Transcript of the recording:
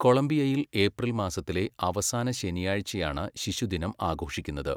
കൊളംബിയയിൽ April മാസത്തിലെ അവസാന ശനിയാഴ്ചയാണ് ശിശുദിനം ആഘോഷിക്കുന്നത്.